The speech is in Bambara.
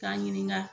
K'a ɲininka